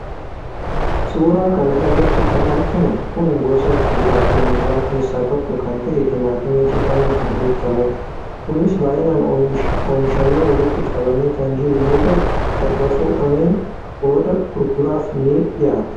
suuraa kana irratti kan arginu kun gosa kuduraafi muduraa keessaa tokko kan ta'e timaatimii jedhamuun kan beekamudha. kunis baayyinaan oomishamee walitti qabamee kan jiru yoo ta'u erga fo'ameen booda gurguraaf ni dhiyaata.